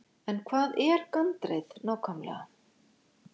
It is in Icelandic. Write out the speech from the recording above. En hvað er gandreið nákvæmlega?